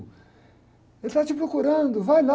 Ele está te procurando, vai lá.